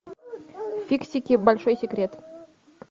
фиксики большой секрет